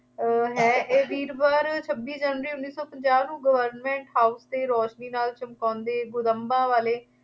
ਅਹ ਹੈ। ਇਹ ਵੀਰਵਾਰ, ਛੱਬੀ ਜਨਵਰੀ ਉੱਨੀ ਸੌ ਪੰਜਾਬ ਨੂੰ government house ਦੇ ਰੌਸ਼ਨੀ ਨਾਲ ਚਮਕਾਉਂਦੇ ਗੁੰਦਬਾਂ ਵਾਲੇ